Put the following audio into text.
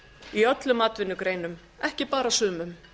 í öllum atvinnugreinum ekki bara sumum